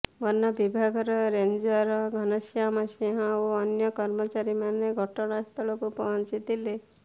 ବନ ବିଭାଗର ରେଞ୍ଜର ଘନଶ୍ୟାମ ସିଂହ ଓ ଅନ୍ୟ କର୍ମଚାରୀମାନେ ଘଟଣାସ୍ଥଳକୁ ପହଂଚିଥିଲେ